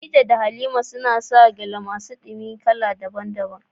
Khadija da Halima suka saƙa gyale masu ɗumi ta amfani da yadi daban-daban.